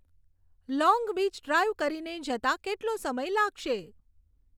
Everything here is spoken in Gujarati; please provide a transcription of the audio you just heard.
લોંગ બીચ ડ્રાઈવ કરીને જતાં કેટલો સમય લાગશે